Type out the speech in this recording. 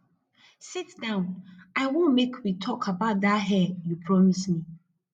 sit down i wan make we talk about dat hair you promise me